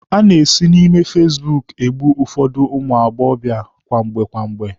A na-esi na ime fasibuuku egbu ụfọdụ ụmụ agbọbịa kwamgbe kwamgbe.